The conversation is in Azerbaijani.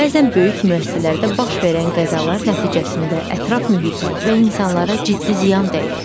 Bəzən böyük müəssisələrdə baş verən qəzalar nəticəsində ətraf mühitə və insanlara ciddi ziyan dəyir.